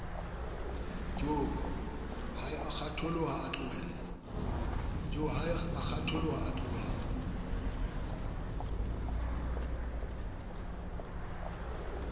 joo hi a kgwatjhoha atlolela